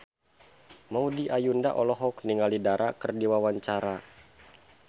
Maudy Ayunda olohok ningali Dara keur diwawancara